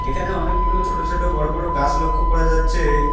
এখানে অনেকগুলো ছোট ছোট বড় বড় গাস লক্ষ করা যাচ্ছে।